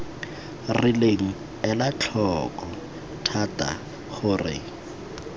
rileng ela tlhoko thata gore